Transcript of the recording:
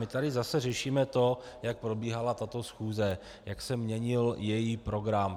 My tady zase řešíme to, jak probíhala tato schůze, jak se měnil její program.